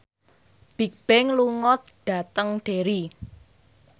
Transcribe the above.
Bigbang lunga dhateng Derry